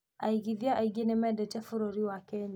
Aigithia aingĩ nĩmendete bũrúri wa Kenya